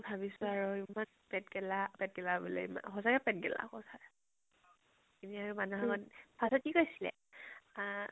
ভাবিছো আৰু ইমান পেট গেলা, পেট গেলা বুলে ইমান, সচাকে পেট গেলা সচা first ত কি কৈছিলে আহ